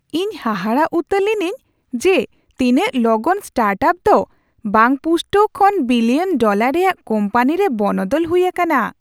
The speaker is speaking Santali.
ᱤᱧ ᱦᱟᱦᱟᱲᱟᱜ ᱩᱛᱟᱹᱨ ᱞᱤᱱᱟᱹᱧ ᱡᱮ ᱛᱤᱱᱟᱹᱜ ᱞᱚᱜᱚᱱ ᱥᱴᱟᱨᱴᱟᱯ ᱫᱚ ᱵᱟᱝᱯᱩᱥᱴᱟᱹᱣ ᱠᱷᱚᱱ ᱵᱤᱞᱤᱭᱚᱱ ᱰᱚᱞᱟᱨ ᱨᱮᱭᱟᱜ ᱠᱳᱢᱯᱟᱱᱤ ᱨᱮ ᱵᱚᱱᱚᱫᱚᱞ ᱦᱩᱭ ᱟᱠᱟᱱᱟ ᱾